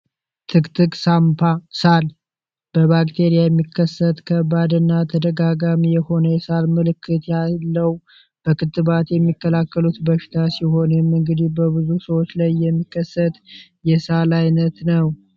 ትግትግ ሳንባ ሳል በባክቴሪያ የሚከሰት ከባድ እና ተደጋጋሚ የሆነ የሳል ምልክት ያለው በክትባት የሚከላከሉት በሽታ ሲሆን ይህም እግዲህ በብዙ ሰዎች ላይ የሚከሰት የሳቅ ዓይነይ ነው ።